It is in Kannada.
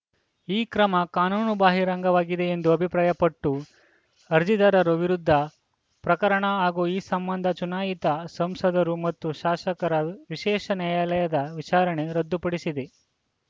ಈ ಕ್ರಮ ಕಾನೂನು ಬಾಹಿರಂಗವಾಗಿದೆ ಎಂದು ಅಭಿಪ್ರಾಯಪಟ್ಟು ಅರ್ಜಿದಾರರ ವಿರುದ್ಧದ ಪ್ರಕರಣ ಹಾಗೂ ಈ ಸಂಬಂಧ ಚುನಾಯಿತ ಸಂಸದರು ಮತ್ತು ಶಾಸಕರ ವಿಶೇಷ ನ್ಯಾಯಾಲಯದ ವಿಚಾರಣೆ ರದ್ದುಪಡಿಸಿದೆ